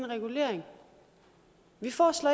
regulering vi foreslår